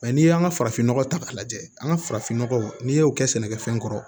n'i y'an ka farafinnɔgɔ ta k'a lajɛ an ka farafinnɔgɔ n'i y'o kɛ sɛnɛkɛfɛn kɔrɔ